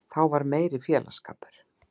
Þá var meiri félagsskapur.